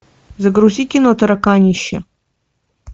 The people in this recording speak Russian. загрузи кино тараканище